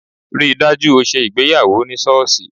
Rí i dájú o ṣe ìgbéyàwó ní sọ́ọ̀ṣì!